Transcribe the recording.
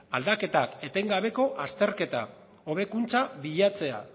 aldaketak etengabeko azterketa hobekuntza bilatzea